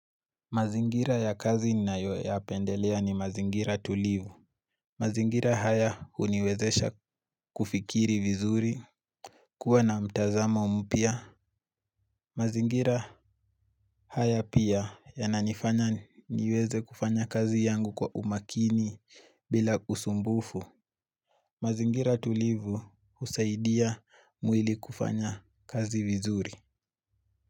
Mazingira ya kazi nayoyapendelea ni mazingira tulivu mazingara haya huniwezesha kufikiri vizuri. Kuwa na mtazamo mpia Mazingira haya pia yananifanya niweze kufanya kazi yangu kwa umakini bila usumbufu. Mazingira tulivu usaidia mwili kufanya kazi vizuri.